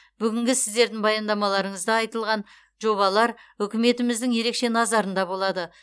бүгінгі сіздердің баяндамаларыңызда айтылған жобалар үкіметіміздің ерекше назарында болады